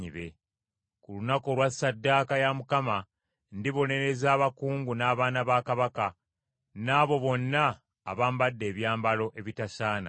Ku lunaku olwa ssaddaaka ya Mukama , ndibonereza abakungu n’abaana ba Kabaka, n’abo bonna abambadde ebyambalo ebitasaana.